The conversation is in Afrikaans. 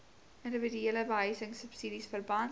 indiwiduele behuisingsubsidies verband